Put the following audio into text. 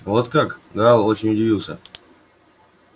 вот как гаал очень удивился